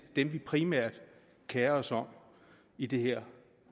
dem vi primært kerer os om i det her